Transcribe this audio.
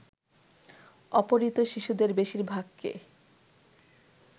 অপহৃত শিশুদের বেশিরভাগকে